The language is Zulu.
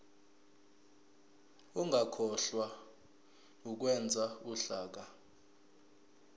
ungakhohlwa ukwenza uhlaka